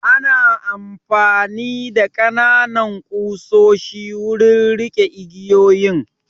Ana amfani da ƙananan ƙusoshi wurin riƙe igiyoyin